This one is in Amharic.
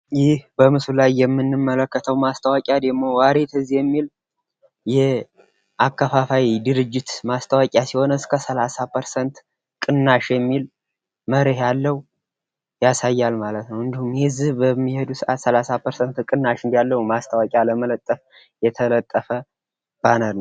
ይህ በምስሉ ላይ የምንመለከተው ማስታወቂያ ደሞ ዋሪትዝ የሚል የጅምላ አከፋፋይ ድርጅት ማስታወቂያ ሲሆን ፤ ሰላሳ ፐርሰንት ቅናሽ እንዳለው የሚያሳይ ማስታወቂያ ለመለጠፍ የተለጠፈ ባነር ነው።